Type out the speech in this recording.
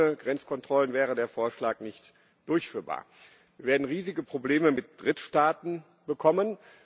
Aber ohne Grenzkontrollen wäre der Vorschlag nicht durchführbar. Wir werden riesige Probleme mit Drittstaaten bekommen.